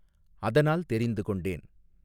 அதனால் தெரிந்து கொண்டேன்.